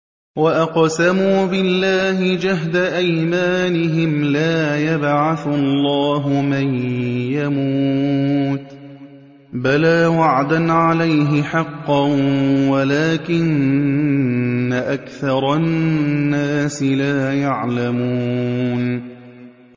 وَأَقْسَمُوا بِاللَّهِ جَهْدَ أَيْمَانِهِمْ ۙ لَا يَبْعَثُ اللَّهُ مَن يَمُوتُ ۚ بَلَىٰ وَعْدًا عَلَيْهِ حَقًّا وَلَٰكِنَّ أَكْثَرَ النَّاسِ لَا يَعْلَمُونَ